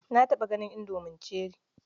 Na taɓa ganin indomi cherie.